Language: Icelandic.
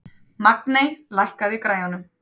Magney, lækkaðu í græjunum.